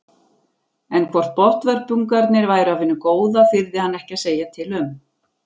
En hvort botnvörpungarnir væru af hinu góða þyrði hann ekki að segja til um.